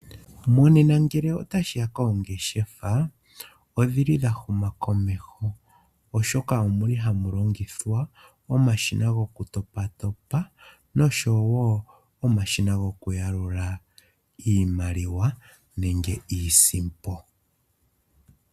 Monena ngele otashi ya koongeshefa, odhi li dha huma komeho, oshoka ohamu longithwa omashina gokutopatopa noshowo omashina gokuyalula iimaliwa nenge iisimpo.